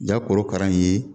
Ja korokara in ye